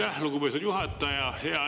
Aitäh, lugupeetud juhataja!